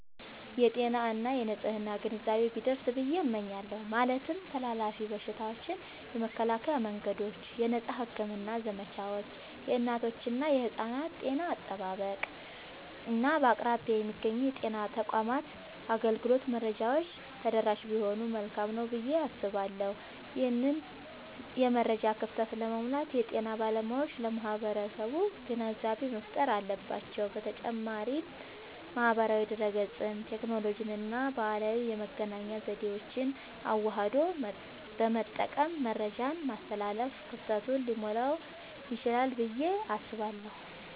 የጤና እና የንፅህና ግንዛቤ ቢደርስ ብየ እመኛለሁ። ማለትም ተላላፊ በሽታዎችን የመከላከያ መንገዶች፣ የነፃ ሕክምና ዘመቻዎች፣ የእናቶችና የሕፃናት ጤና አጠባበቅ፣ እና በአቅራቢያ የሚገኙ የጤና ተቋማት አገልግሎት መረጃዎች ተደራሽ ቢሆኑ መልካም ነዉ ብየ አስባለሁ። ይህንን የመረጃ ክፍተት ለመሙላት የጤና ባለሙያዎች ለማህበረሰቡ ግንዛቤ መፍጠር አለባቸዉ። በተጨማሪም ማህበራዊ ድህረገጽን፣ ቴክኖሎጂንና ባህላዊ የመገናኛ ዘዴዎችን አዋህዶ በመጠቀም መረጃን ማስተላለፍ ክፍተቱን ሊሞላዉ ይችላል ብየ አስባለሁ።